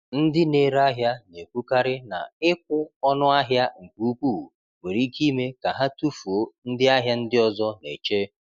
Ndị na-ere ahịa na-ekwukarị na ịkwụ ọnụ ahịa nke ukwuu nwere ike ime ka ha tufuo ndị ahịa ndị ọzọ na-eche.